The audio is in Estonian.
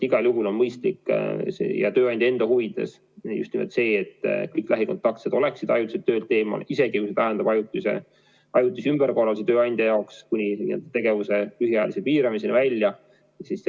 Igal juhul on mõistlik ja ka tööandja huvides just nimelt see, et kõik lähikontaktsed oleksid ajutiselt töölt eemal, isegi kui see tähendab ajutisi ümberkorraldusi tööandja jaoks kuni tegevuse lühiajalise piiramiseni välja.